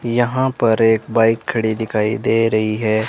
यहां पर एक बाइक खड़ी दिखाई दे रही है।